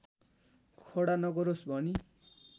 खडा नगरोस् भनी